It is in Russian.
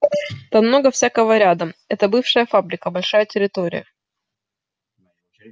там много всякого рядом это бывшая фабрика большая территория